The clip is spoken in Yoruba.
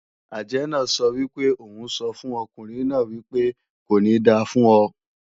Àjẹ́ náà sọ wípé òun o sọ fún ọkùnrin náà wípé "Kò ní da fún ọ"